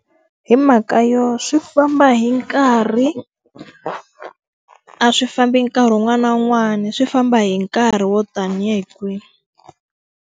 Hi mhaka yo swi famba hi nkarhi. A swi fambi nkarhi wun'wana na wun'wana, swi famba hi nkarhi wo tanihi kwihi.